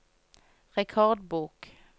rekordbok